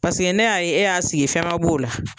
Paseke ne y'a ye e y'a sigi fɛn ma b'o la